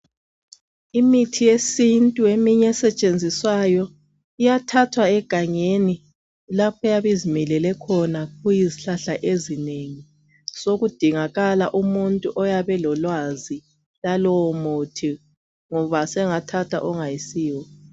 Imithi yesintu eminye esetshenziswayo iyathathwa egangeni lapho eyabe izimilele khona kuyizihlahla ezinengi . Sokudingakala umuntu oyabe lwazi lwalowo muthi ngoba sengathatha ongayisiwo.